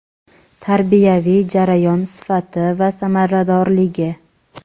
tarbiyaviy jarayon sifati va samaradorligi;.